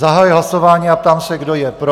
Zahajuji hlasování a ptám se, kdo je pro?